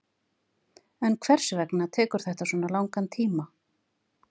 En hvers vegna tekur þetta svona langan tíma?